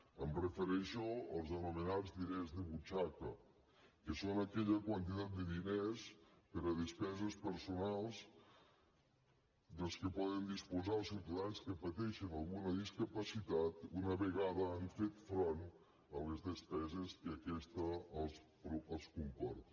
em refereixo als anomenats diners de butxaca que són aquella quantitat de diners per a despeses personals dels quals poden disposar els ciutadans que pateixen alguna discapacitat una vegada han fet front a les despeses que aquesta els comporta